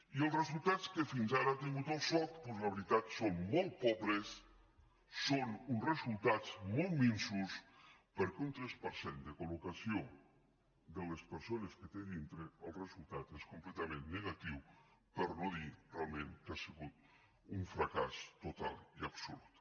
i els resultats que fins ara ha tingut el soc doncs la veritat són molt pobres són uns resultats molt minsos perquè un tres per cent de col·locació de les persones que té a dintre el resultat és completament negatiu per no dir realment que ha sigut un fracàs total i absolut